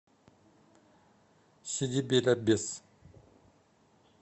сиди бель аббес